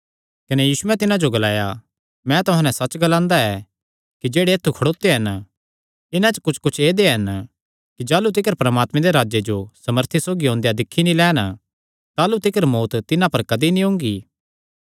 कने यीशुयैं तिन्हां जो ग्लाया मैं तुहां नैं सच्च ग्लांदा ऐ कि जेह्ड़े ऐत्थु खड़ोत्यो हन इन्हां च कुच्छकुच्छ ऐदेय हन कि जाह़लू तिकर परमात्मे दे राज्जे जो सामर्था सौगी ओंदेयां दिक्खी नीं लैन ताह़लू तिकर मौत्त तिन्हां पर कदी नीं ओंगी